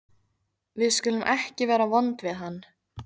Við skulum ekki vera vond við hann.